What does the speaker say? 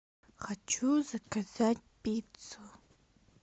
хочу заказать пиццу